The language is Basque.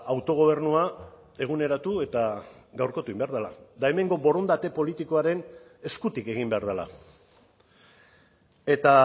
autogobernua eguneratu eta gaurkotu egin behar dela eta hemengo borondate politikoaren eskutik egin behar dela eta